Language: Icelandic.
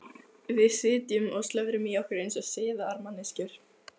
Við sitjum og slöfrum í okkur eins og siðaðar manneskjur.